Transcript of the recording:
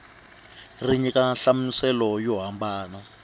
ri nyika nhlamuselo yo hambana